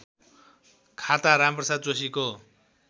खाता रामप्रसाद जोशीको